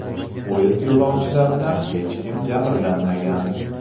Poyezd yo‘lovchilaridan hech kim jabrlanmagan.